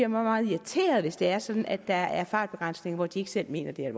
meget irriterede hvis det er sådan at der er fartbegrænsning der hvor de ikke selv mener det er